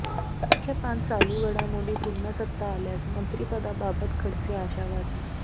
मुख्य पान चालू घडामोडी पुन्हा सत्ता आल्यास मंत्रिपदाबाबत खडसे आशावादी